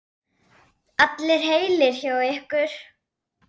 Nei, en hann mun læra.